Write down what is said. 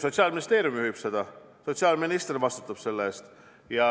Sotsiaalministeerium juhib seda ja sotsiaalminister vastutab selle eest.